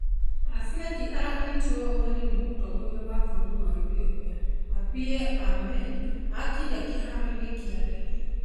Afweki aranyitiro ũgeni nĩ mũtongoria wa bũrũri wa Ethiopia Abiy Ahmed akinya kĩharo-inĩ kĩa ndege.